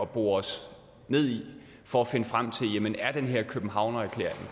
bore os ned i for at finde frem til jamen er den her københavnererklæring